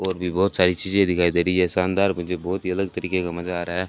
और भी बहोत सारी चीजे दिखाई दे रही है शानदार मुझे बहोत ही अलग तरीके का मजा आ रहा--